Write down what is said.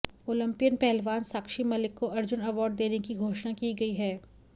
Olympian पहलवान साक्षी मलिक को Arjuna award देने की घोषणा की गई है